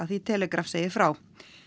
því er Telegraph segir frá